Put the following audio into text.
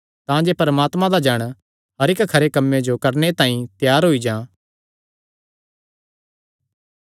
तांजे परमात्मे दा जण हर इक्क खरे कम्मे जो करणे तांई त्यार होई जां